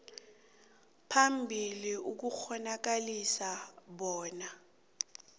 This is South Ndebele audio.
phambili ukukghonakalisa bona